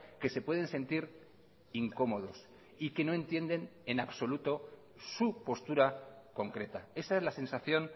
que se pueden sentir incómodos y que no entienden en absoluto su postura concreta esa es la sensación